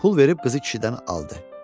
Pul verib qızı kişidən aldı.